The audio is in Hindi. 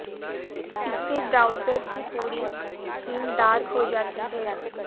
इससे ब्राउजर की पूरी थीम डार्क हो जाती है